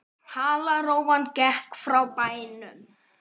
Halarófan gekk frá bænum.